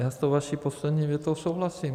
Já s tou vaší poslední větou souhlasím.